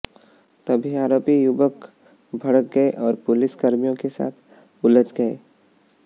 तभी आरोपी युवक भड़क गये और पुलिस कर्मियों के साथ उलझ गये